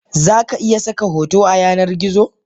Zaka iya saka hoto a yanar gizo.